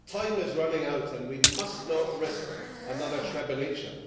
Time is running out and we must not risk another Srebrenica.